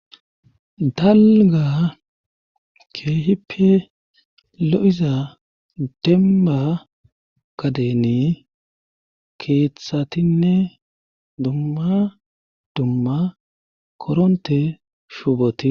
dalga keehippe lo7iza demma kadeni keethshatinne dumma dumma koronte shuuboti